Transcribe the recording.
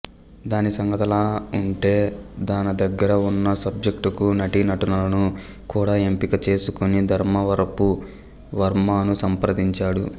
దాని సంగతలా ఉంటే తన దగ్గర ఉన్న సబ్జెక్టుకు నటీనటులను కూడా ఎంపిక చేసేసుకుని ధర్మవరపు వర్మను సంప్రదించాడు